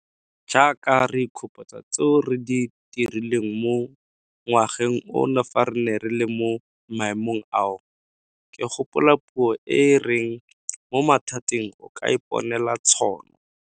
Jaaka re ikgopotsa tseo re di dirileng mo ngwageng ono fa re ne re le mo maemong ao, ke gopola puo e e reng mo mathateng o ka iponela tšhono.